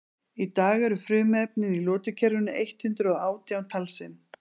í dag eru frumefnin í lotukerfinu eitt hundruð og átján talsins